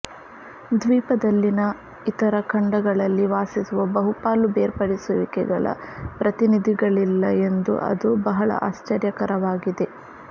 ದ್ವೀಪದಲ್ಲಿನ ಇತರ ಖಂಡಗಳಲ್ಲಿ ವಾಸಿಸುವ ಬಹುಪಾಲು ಬೇರ್ಪಡಿಸುವಿಕೆಗಳ ಪ್ರತಿನಿಧಿಗಳಿಲ್ಲ ಎಂದು ಅದು ಬಹಳ ಆಶ್ಚರ್ಯಕರವಾಗಿದೆ